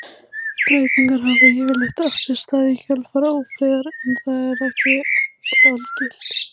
Breytingar hafa yfirleitt átt sér stað í kjölfar ófriðar en það er þó ekki algilt.